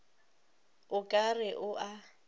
o ka re o a